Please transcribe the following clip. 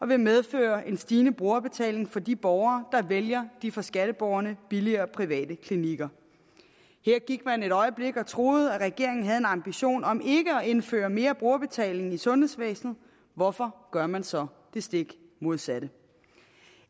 vil medføre en stigende brugerbetaling for de borgere der vælger de for skatteborgerne billigere private klinikker her gik man et øjeblik og troede at regeringen havde en ambition om ikke at indføre mere brugerbetaling i sundhedsvæsenet hvorfor gør man så det stik modsatte